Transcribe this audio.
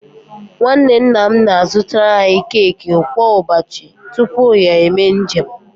Nwanne nna m na-azụtaara anyị keki kwa ụbọchị tupu ya eme njem